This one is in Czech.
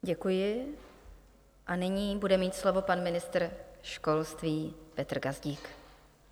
Děkuji a nyní bude mít slovo pan ministr školství Petr Gazdík.